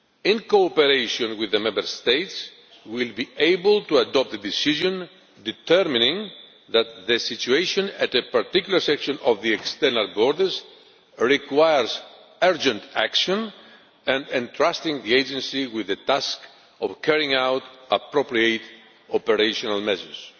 in cooperation with the Member States will be able to adopt a decision determining that the situation at a particular section of the external borders requires urgent action and entrusting the Agency with the task of carrying out appropriate operational measures.